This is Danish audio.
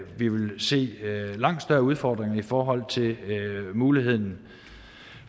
vil se langt større udfordringer i forhold til muligheden